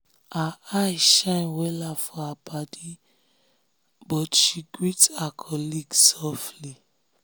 her eye shine wella for her paddy but she greet her colleague softly.